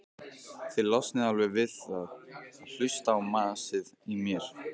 Þið losnið alveg við að hlusta á masið í mér.